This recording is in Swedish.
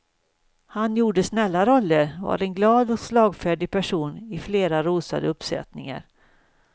Han gjorde snälla roller, var en glad och slagfärdig person i flera rosade uppsättningar.